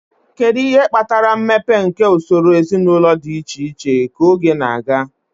Kedu ihe kpatara mmepe nke usoro ezinụlọ dị iche iche ka oge na-aga?